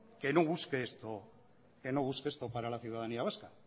que no busque esto para la ciudadanía vasca